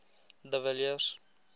de villiers